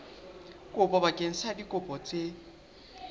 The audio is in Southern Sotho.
kopo bakeng sa dikopo tse